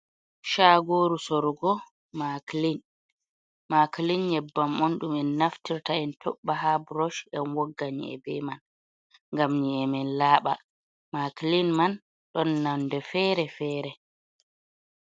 Shagoru sorugo maklin. maklin nyebbam on ɗum en naftirta en toɓɓa ha burosh en wogga nyi'e be man ngam nye’emen laɓa, maklin man ɗon nonde fere-fere.